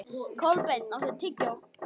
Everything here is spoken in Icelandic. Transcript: Kolbeinn, áttu tyggjó?